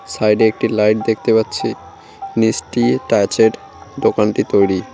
সাইডে একটি লাইট দেখতে পাচ্ছি নিচটি তাঁচের দোকানটি তৈরি।